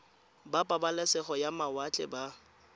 ba pabalesego ya mawatle ba